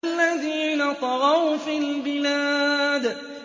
الَّذِينَ طَغَوْا فِي الْبِلَادِ